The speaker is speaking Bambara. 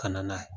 Ka na n'a ye